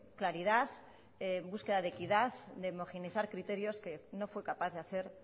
claridad en búsqueda de equidad de homogeneizar criterios que no fue capaz de hacer